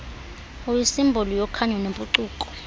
uyisimboli yokhanyo nempucuko